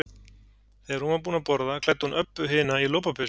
Þegar hún var búin að borða klæddi hún Öbbu hina í lopapeysu.